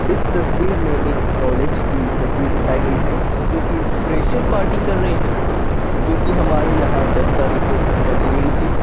इस तस्वीर में एक कॉलेज की तस्वीर दिखाई गई है जो कि फ्रेशर पार्टी कर रहे हैं जो कि हमारे यहाँ दस तारीख को खत्म हो गई थी।